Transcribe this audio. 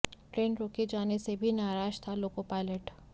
train रोके जाने से भी नाराज था लोको पायलट